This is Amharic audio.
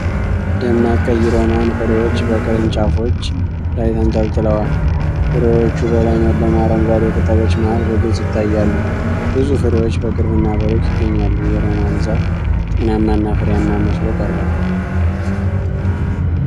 ደማቅ ቀይ ሮማን ፍሬዎች በቅርንጫፎች ላይ ተንጠልጥለዋል። ፍሬዎቹ በለመለሙ አረንጓዴ ቅጠሎች መሀል በግልጽ ይታያሉ። ብዙ ፍሬዎች በቅርብና በሩቅ ይገኛሉ። የሮማን ዛፍ ጤናማና ፍሬያማ መስሎ ቀርቧል።